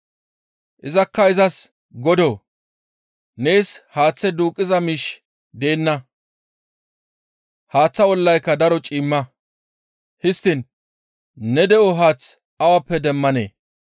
Izakka izas, «Godoo! Nees haaththe duuqqiza miishshi deenna; haaththaa ollayka daro ciimma; histtiin ne de7o haath awappe demmanee?